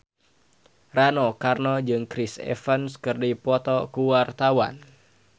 Rano Karno jeung Chris Evans keur dipoto ku wartawan